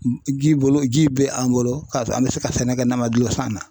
Ji bolo ji bɛ an bolo ka sɔrɔ an bɛ se ka sɛnɛ kɛ n'an man gulon san na.